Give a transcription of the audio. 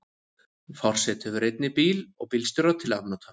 Forseti hefur einnig bíl og bílstjóra til afnota.